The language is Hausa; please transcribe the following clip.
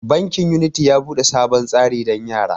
Bankin unity ya bude sabon tsari dan yara.